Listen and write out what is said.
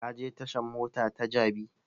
Ka je tashan mota ta jabi?